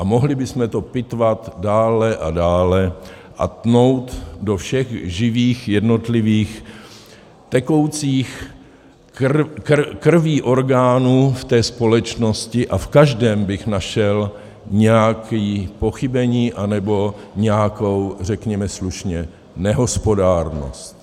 A mohli bychom to pitvat dále a dále a tnout do všech živých jednotlivých tekoucích krví orgánů v té společnosti a v každém bych našel nějaké pochybení, anebo nějakou řekněme slušně nehospodárnost.